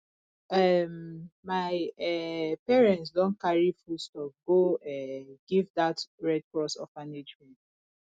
um my um parents don carry foodstuff go um give dat red cross orphanage home